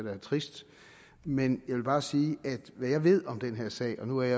er trist men jeg vil bare sige at hvad jeg ved om den her sag og nu er